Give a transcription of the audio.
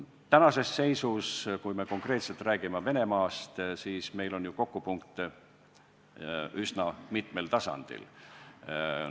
Tänases seisus, kui me räägime Venemaast, on meil ju kokkupuutepunkte üsna mitmel tasandil.